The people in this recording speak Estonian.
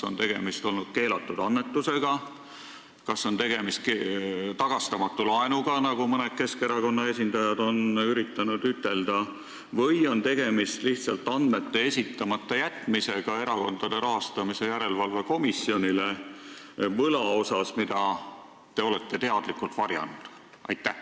Kas tegemist on olnud keelatud annetusega, tagastamatu laenuga, nagu mõned Keskerakonna esindajad on üritanud öelda, või on tegemist olnud lihtsalt andmete esitamata jätmisega Erakondade Rahastamise Järelevalve Komisjonile võla asjus, mida te olete teadlikult varjanud?